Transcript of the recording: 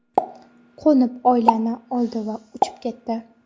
Qo‘nib, oilani oldi va uchib ketdi.